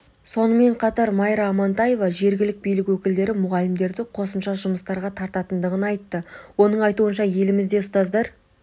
сонымен қатар майра амантаева жергілік билік өкілдері мұғалімдерді қосымша жұмыстарға тартатындығын айтты оның айтуынша елімізде ұстаздар